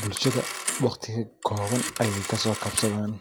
Bulshaada waqti kobaan ayeey kasoo kabsaadan